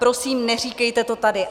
Prosím, neříkejte to tady.